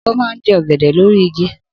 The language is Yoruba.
Obo n je ogede lori igi.